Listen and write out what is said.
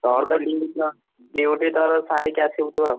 Duty ତୋର ସାରିକି ଆସିବୁ ତୁ ଆଉ।